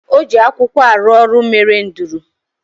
O ji akwụkwọ arụ ọrụ mere nduru